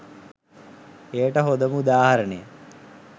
එයට හොඳම උදාහරණය